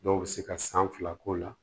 Dɔw bɛ se ka san fila k'o la